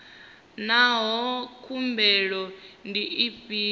naa hoea khulwane ndi dzifhio